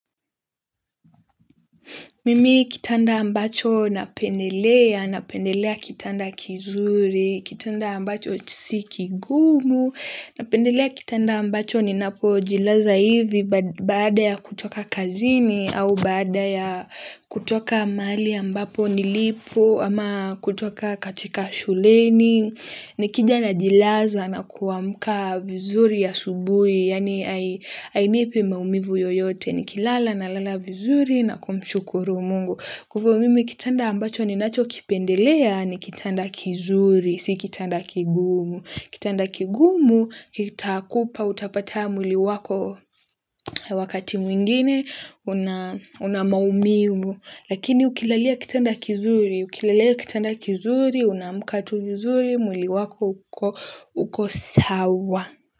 Mimi kitanda ambacho napendelea, napendelea kitanda kizuri, kitanda ambacho si kigumu, napendelea kitanda ambacho ninapojilaza hivi baada ya kutoka kazini au baada ya kutoka mali ambapo nilipo ama kutoka katika shuleni. Nikija najilaza na kuamka vizuri asubuhi, yaani ainipi maumivu yoyote, nikilala nalala vizuri na kumshukuru mungu. Kwa hivyo mimi kitanda ambacho ninachokipendelea ni kitanda kizuri, si kitanda kigumu. Kitanda kigumu, kitakupa utapata mwili wako wakati mwingine, una maumivu. Lakini ukilalia kitanda kizuri, ukilalia kitanda kizuri, unaamka tu vizuri, mwili wako uko sawa.